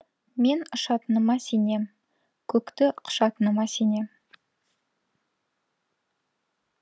мен ұшатыныма сенем көкті құшатыныма сенем